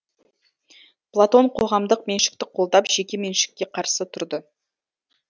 платон қоғамдық меншікті қолдап жеке меншікке қарсы тұрды